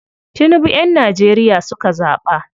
Tinibu yan Nageria suka zaɓa.